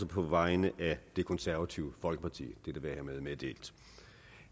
på vegne af det konservative folkeparti dette være hermed meddelt